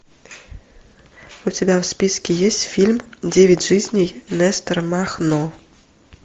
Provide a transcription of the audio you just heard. у тебя в списке есть фильм девять жизней нестора махно